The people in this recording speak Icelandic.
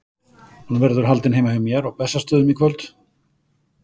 Hún verður haldin heima hjá mér á Bessastöðum í kvöld.